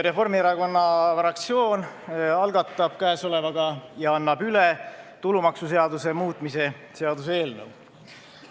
Reformierakonna fraktsioon algatab käesolevaga ja annab üle tulumaksuseaduse muutmise seaduse eelnõu.